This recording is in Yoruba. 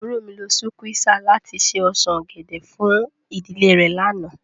Àburó mi lo sukwéesà lati ṣe osan ogẹdẹ fun idile re làná